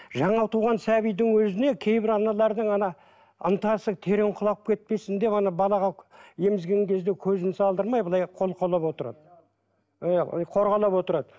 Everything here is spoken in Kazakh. жаңа туған сәбидің өзіне кейбір аналардың ана ынтасы терең құлап кетпесін деп ана балаға емізген кезде көзін салдырмай былай қолқалап отырады ы қорғалап отырады